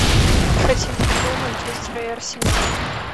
хотим футбол манчестера и арсенала